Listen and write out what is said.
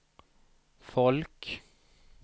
folk